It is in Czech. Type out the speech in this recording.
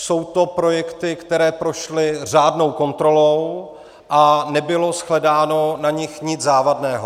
Jsou to projekty, které prošly řádnou kontrolou, a nebylo shledáno na nich nic závadného.